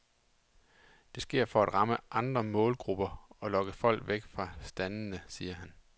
Det sker for at ramme andre målgrupper og lokke folk væk fra standene, siger han.